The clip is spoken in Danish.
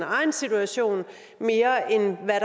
egen situation mere end hvad